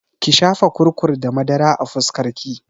Ki shafa kurkur da madara a fuskar ki!